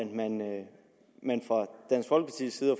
man fra